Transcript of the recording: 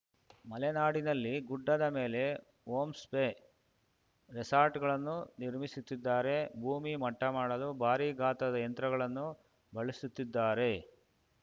ಮಲೆನಾಡಿನಲ್ಲಿ ಗುಡ್ಡದ ಮೇಲೆ ಹೋಂಸ್ಪೆ ರೆಸಾರ್ಟ್‌ಗಳನ್ನು ನಿರ್ಮಿಸುತ್ತಿದ್ದಾರೆ ಭೂಮಿ ಮಟ್ಟಮಾಡಲು ಭಾರಿ ಗಾತ್ರದ ಯಂತ್ರಗಳನ್ನು ಬಳಸುತ್ತಿದ್ದಾರೆ